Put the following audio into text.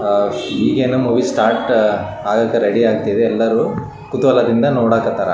ಅಹ್‌ ಇಗೆ‌ ಇನ್ movie start ಆಗಕೆ ರೆಡಿ ಆಗ್ತಿದೆ ಎಲ್ಲರೂ ಕುತೂಹಲದಿಂದ ನೋಡಾಕತ್ತಾರ .